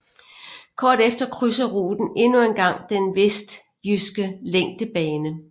Kort efter krydser ruten endnu en gang den vestjyske længdebane